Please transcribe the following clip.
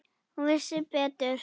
Hún vissi betur.